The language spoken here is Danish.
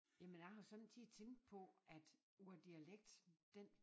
Jamen jeg har sommetider tænkt på at brug af dialekt den